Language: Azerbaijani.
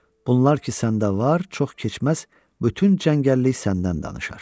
Bunlar ki səndə var, çox keçməz bütün cəngəllik səndən danışar.